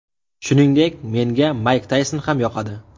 Shuningdek, menga Mayk Tayson ham yoqadi.